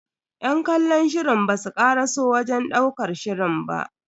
Yan kallon shirin basu karaso wajen ɗaukar shirin ba.